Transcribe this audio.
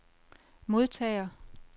modtager